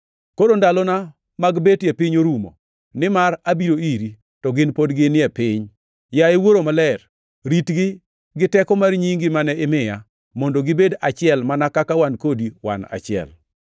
Koro ndalona mag bet e piny orumo, nimar abiro iri, to gin pod gin e piny. Yaye Wuoro Maler, ritgi gi teko mar nyingi mane imiya, mondo gibed achiel mana kaka wan kodi wan achiel.